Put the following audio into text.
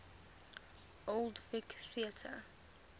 old vic theatre